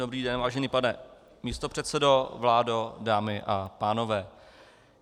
Dobrý den, vážený pane místopředsedo, vládo, dámy a pánové.